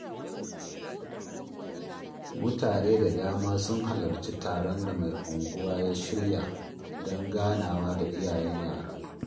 Mutane da dama sun halarci taron da mai unguwa ya shirya don ganawa da iyayen yara